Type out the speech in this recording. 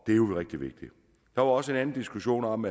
er jo rigtig vigtigt der var også en anden diskussion om